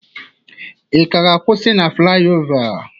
Ị ga-akwụsị na flayova?